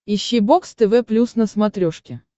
ищи бокс тв плюс на смотрешке